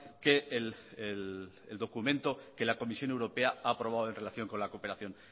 que el documento que la comisión europea ha aprobado en relación con la cooperación